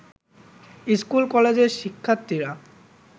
স্কুল-কলেজের শিক্ষার্থীরা